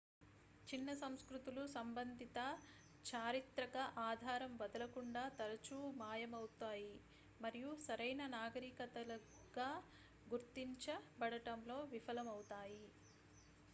చిన్న సంస్కృతులు సంబంధిత చారిత్రక ఆధారం వదలకుండా తరచూ మాయమవుతాయి మరియు సరైన నాగరికతలుగా గుర్తించబడటంలో విఫలమవుతాయి